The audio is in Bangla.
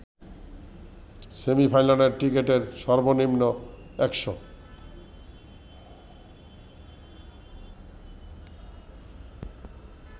সেমি-ফাইনালের টিকেটের সর্বনিম্ন ১০০